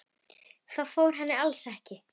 Það fór henni alls ekki.